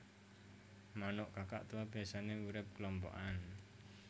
Manuk Kakatua biyasané urip klompokan